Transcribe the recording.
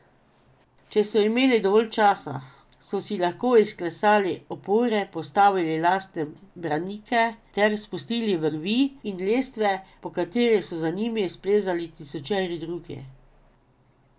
Če so imeli dovolj časa, so si lahko izklesali opore, postavili lastne branike ter spustili vrvi in lestve, po katerih so za njimi splezali tisočeri drugi.